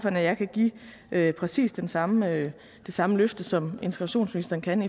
at jeg kan give præcis det samme samme løfte som integrationsministeren kan